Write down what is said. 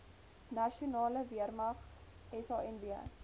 nasionale weermag sanw